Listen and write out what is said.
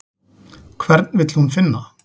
Hvern vill hún finna?